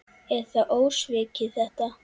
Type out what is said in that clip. Er það ósvikið þetta?